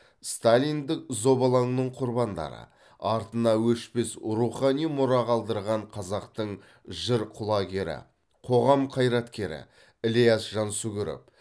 сталиндік зобалаңның құрбандары артына өшпес рухани мұра қалдырған қазақтың жыр құлагері қоғам қайраткері ілияс жансүгіров